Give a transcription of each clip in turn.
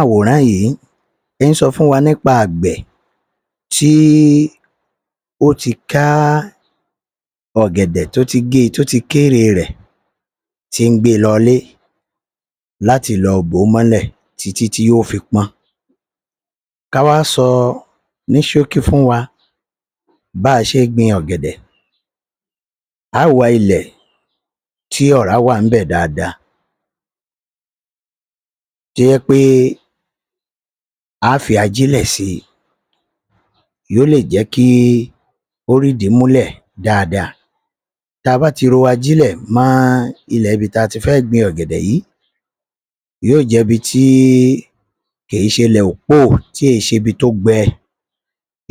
Awòrán yìí ń sọ fún wa nípa àgbẹ̀ tí ó ti ká ọ̀gẹ̀dè tó ti gé e tó ti kérè rẹ̀, tí ń gbé e lọlé láti lọ bò ó mọ́lẹ̀ títí yóò fi pọ́n. Ká wá sọ ní ṣókí fún wa bá a ṣe gbin ọ̀gẹ̀dẹ̀. A ó wàá ilẹ̀ tí ọ̀rá wà ń bẹ̀ dáadáa, tó jẹ́ pé a á fi ajílẹ̀ sí i yóò lè jé kí ó rídìí múlẹ̀ dáadáa; ta bá ti ro ajílẹ̀ mọ́ ilẹ̀ ibi tí a ti fẹ́ gbin ọ̀gẹ̀dè sí yóò jẹ́ ibi tí kèé ṣe ilẹ̀ òpóò téè ṣe ibi tó gbẹ’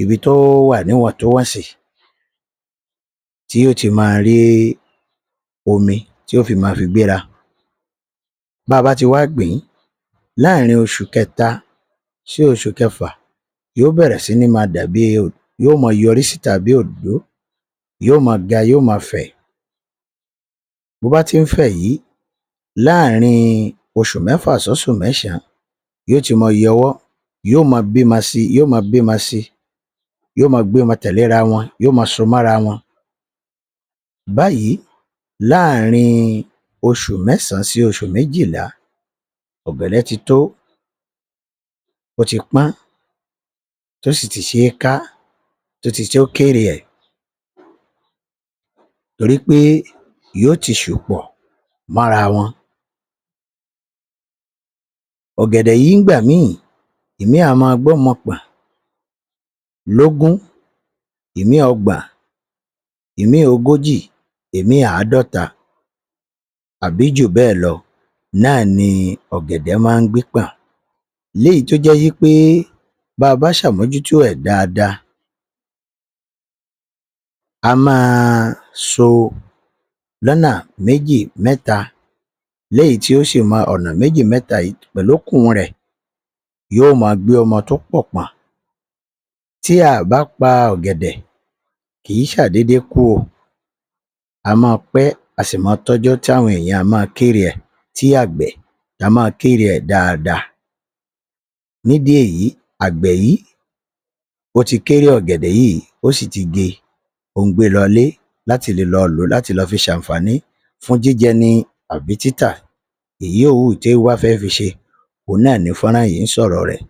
ibi tó wà ní wọ̀ntúnwọ̀nsì, tí yóò ti máa rí omi tí yóò fi máa fi gbéra. Bí a bá ti wá gbìn-ín láàrin oṣù kẹta sí oṣù kẹfà yóò bẹ̀rẹ̀ sí ní máa dàbí, yóò máa yọ́rí síta bí i òdòdó; yóò máa ga; yóò máa fẹ̀. Bó bá ti ń fẹ̀ yìí láàrin oṣù méfà sí oṣù mésàn-án yóò ti máa yọwọ́; yóò máa bímọ sí i; yóò máa gbọ́mọ tẹ̀lé ra wọn; yóò máa so mára wọn. Báyìí láàrin oṣù mésàn-án sí oṣù méjìlá ọ̀gẹ̀dè ti tó; ó ti pọ́n; tó sì ti ṣe é ká; tó ti tó kérè è torí pé yóò ti sù pọ̀ mọ́ra wọn. Ọ̀gẹ̀dẹ̀ yìí ń’gbà míì ìmíì a máa gbọ́mọ pọ̀n lógún; ìmíì ọgbọ̀n; ìmíì ogójì; ìmíì àádọ́ta tàbí jù bẹ́ẹ̀ lọ náà ni ọ̀gẹ̀dè máa ń gbé pọ̀n léyìí tó jẹ́ wí pé bá a bá ṣàmójútó ẹ̀ dáadáa a máa so lọ́nà méjì mẹ́ta léyìí tó ṣì mọ ọ̀nà mẹ́jì mẹ́ta yìí pẹ̀lú okùn rẹ̀ yóò máa gbé ọmọ tó pọ̀ pọ̀n. Tí a à bá pa ọ̀gẹ̀dẹ̀ kìí ṣàdéédé kú o. A máa pẹ́ a sì máa tọ́jọ́ tí àwọn ènìyàn a máa kérè ẹ̀, tí àgbẹ̀ a máa kérè ẹ̀ dáadáa. Nídìí èyí agbẹ̀ yìí ti kérè ọ̀gẹ̀dẹ̀ yìí, ó sì ti gé e. Ó ń gbé e lọlé láti le lọ lò ó láti lọ fi ṣàǹfààní fún jíjẹ ni àbí títà. Èyí ó wú tí ó bá fẹ́ fi ṣe òhun náà ni fọ́nrán yìí ń sọ̀rọ̀ rẹ̀